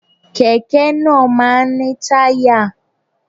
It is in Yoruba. Kẹ̀kẹ́ náà máa ń ní táyà